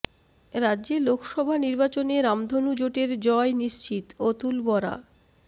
রাজ্যে লোকসভা নির্বাচনে রামধনু জোটের জয় নিশ্চিতঃ অতুল বরা